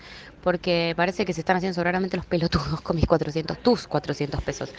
фолиевая кислота мкг аэрозоль тату в квадрате